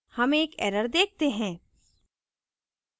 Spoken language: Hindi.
हम एक error देखते हैं